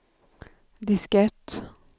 diskett